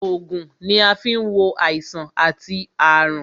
Ògùn ni a fi ń wo àìsàn àti àrùn